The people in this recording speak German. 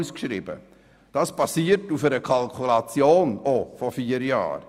Diese basieren dann auch auf einer Kalkulation von vier Jahren.